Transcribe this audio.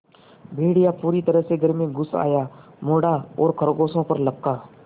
भेड़िया पूरी तरह से घर में घुस आया मुड़ा और खरगोशों पर लपका